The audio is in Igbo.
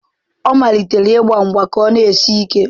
Ọ malitere ịgba mgba ka o sie ike.